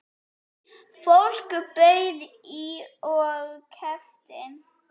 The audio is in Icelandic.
Fólk bauð í og keypti.